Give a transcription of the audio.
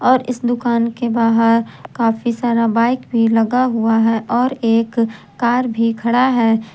और यह दुकान के बाहर काफी सारा बाइक भी लगा हुआ है और एक कार भी खड़ा है।